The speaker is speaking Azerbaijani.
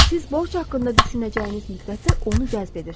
Siz borc haqqında düşünəcəyiniz müddətdə onu cəzb edirsiniz.